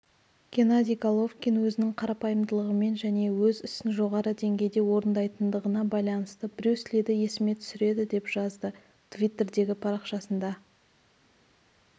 геннадий головкин өзінің қарапайымдылығымен және өз ісін жоғары деңгейде орындайтындығына байланысты брюс лиді есіме түсіреді деп жазды туиттердегі парақшасында